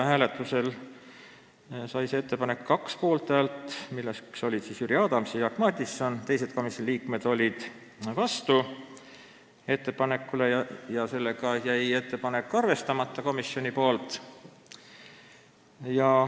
Hääletusel sai see 2 poolthäält ja teised komisjoni liikmed olid vastu – seega komisjon seda ettepanekut ei arvestanud.